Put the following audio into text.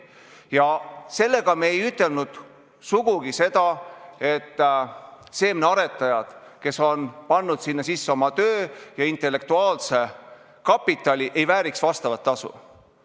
Ja sellega me ei ütelnud sugugi seda, et seemnearetajad, kes on pannud sinna sisse oma töö ja intellektuaalse kapitali, ei vääriks vastavat tasu.